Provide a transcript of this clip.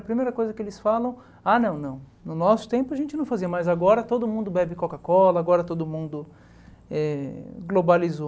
A primeira coisa que eles falam, ah não, não, no nosso tempo a gente não fazia, mas agora todo mundo bebe Coca-Cola, agora todo mundo eh globalizou.